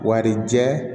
Warijɛ